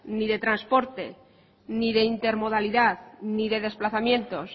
ni de transporte ni de intermodalidad ni de desplazamientos